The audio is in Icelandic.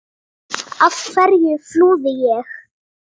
Af hverju flúði ég?